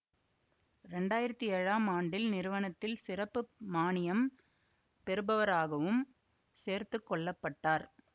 இரண்டாயிரத்தி ஏழாம் ஆண்டில் நிறுவனத்தில் சிறப்பு மானியம் பெறுபவராகவும் சேர்த்துக்கொள்ளப்பட்டார்